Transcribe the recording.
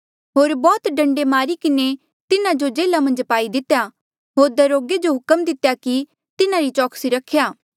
होर बौह्त डंडे मारी किन्हें तिन्हा जो जेल्हा मन्झ पाई दितेया होर दरोगे जो हुक्म दितेया कि तिन्हारी चौकसी रख्या